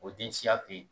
O den siya bi yen